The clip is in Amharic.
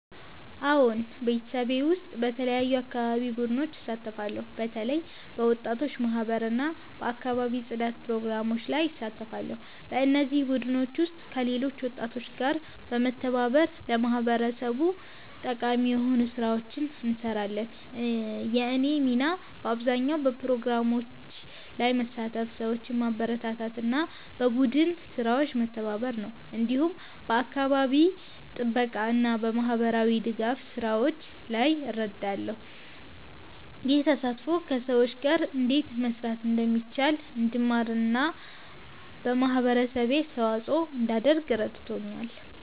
አዎን፣ በማህበረሰቤ ውስጥ በተለያዩ የአካባቢ ቡድኖች እሳተፋለሁ። በተለይ በወጣቶች ማህበር እና በአካባቢ ጽዳት ፕሮግራሞች ላይ እሳተፋለሁ። በእነዚህ ቡድኖች ውስጥ ከሌሎች ወጣቶች ጋር በመተባበር ለማህበረሰቡ ጠቃሚ የሆኑ ስራዎችን እንሰራለን። የእኔ ሚና በአብዛኛው በፕሮግራሞች ላይ መሳተፍ፣ ሰዎችን ማበረታታት እና በቡድን ስራዎች መተባበር ነው። እንዲሁም በአካባቢ ጥበቃ እና በማህበራዊ ድጋፍ ስራዎች ላይ እረዳለሁ። ይህ ተሳትፎ ከሰዎች ጋር እንዴት መስራት እንደሚቻል እንድማር እና ለማህበረሰቤ አስተዋጽኦ እንዳደርግ ረድቶኛል።